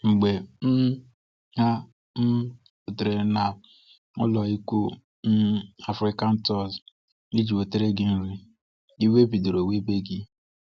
Mgbe um ha um rutere n’ụlọikwuu um Africatours iji nwetara gi nri, iwe bidoro webe gi.